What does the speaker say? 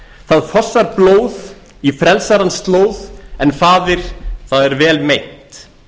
það fossar blóð í frelsarans slóð en faðir það er vel meint